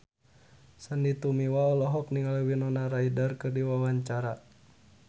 Sandy Tumiwa olohok ningali Winona Ryder keur diwawancara